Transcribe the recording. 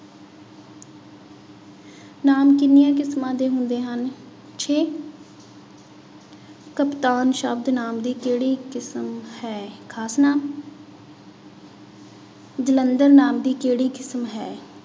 ਨਾਂਵ ਕਿੰਨੀਆਂ ਕਿਸਮਾਂ ਦੇ ਹੁੰਦੇ ਹਨ ਛੇ ਕਪਤਾਨ ਸ਼ਬਦ ਨਾਂਵ ਦੀ ਕਿਹੜੀ ਕਿਸਮ ਹੈ ਖ਼ਾਸ ਨਾਂਵ ਜਲੰਧਰ ਨਾਂਵ ਦੀ ਕਿਹੜੀ ਕਿਸਮ ਹੇ?